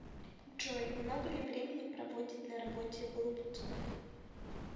джой много ли времени проводит на работе голубцов